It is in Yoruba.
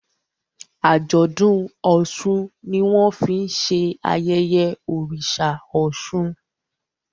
Ajọdun òsùn ní wón fín ṣe ayẹyẹ oriṣa òsun.